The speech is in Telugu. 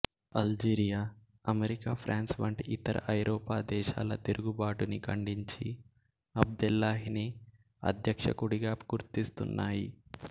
అల్జీరియా అమెరికా ఫ్రాన్సు వంటి ఇతర ఐరోపా దేశాలు తిరుగుబాటుని ఖండించి అబ్దేల్లహిని అధ్యక్షుడిగా గుర్తిస్తున్నాయి